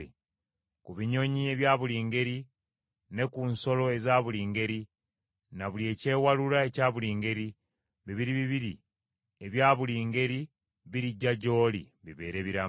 Ku binyonyi ebya buli ngeri, ne ku nsolo eza buli ngeri, na buli ekyewalula ekya buli ngeri, bibiri bibiri ebya buli ngeri birijja gy’oli, bibeere biramu.